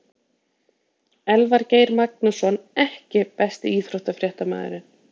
Elvar Geir Magnússon EKKI besti íþróttafréttamaðurinn?